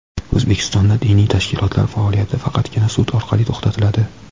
O‘zbekistonda diniy tashkilotlar faoliyati faqatgina sud orqali to‘xtatiladi.